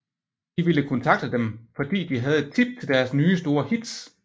De ville kontakte dem fordi de havde et tip til deres nye store hits